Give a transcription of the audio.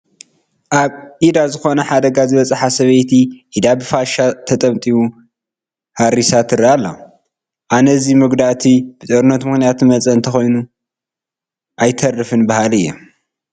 ኣብ ኢዳ ዝኾነ ሓደጋ ዝበፅሓ ሰበይቲ ኢዳ ብፋሻ ተጠምጢሙ ሓሪሳ ትርአ ኣላ፡፡ ኣነ እዚ መጉዳእቲ ብጦርነት ምኽንያት ዝመፃ እንተይኮነ ኣይተርፍን በሃሊ እየ፡፡